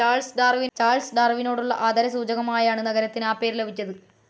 Charles ഡാർവിനോടുള്ള ആദരസൂചകമായാണ് നഗരത്തിനു ആ പേരു ലഭിച്ചത്.